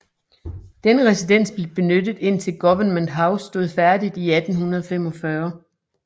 Denne residens blev benyttet indtil Government House stod færdig i 1845